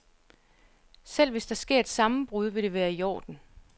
Selv hvis der sker et sammenbrud, vil det være i orden.